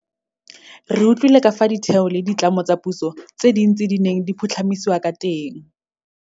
Re utlwile ka fao ditheo le ditlamo tsa puso tse dintsi di neng di phutlhamisiwa ka teng.